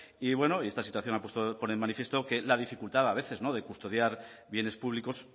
y esta situación pone de manifiesto la dificultad de custodiar a veces bienes públicos